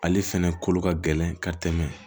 Ale fɛnɛ kolo ka gɛlɛn ka tɛmɛ